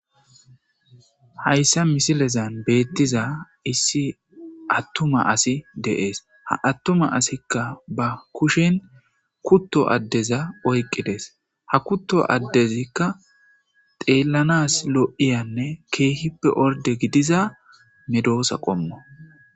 Hayssa misilezan beettiza issi attuma asi de7ees ha attuma asikka ba kushen kutto addeza oyqqidees ha kutto addezikka xeellanas li,iyanne keehippe orde gidiza medoosa qommo.